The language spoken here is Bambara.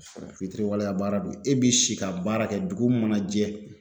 Fitiriwaleya baara don e bi si ka baara kɛ dugu mana jɛ